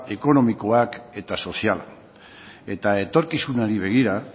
ekonomikoa eta soziala eta etorkizunari begira